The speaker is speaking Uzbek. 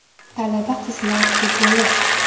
Talaba qizlar futboli.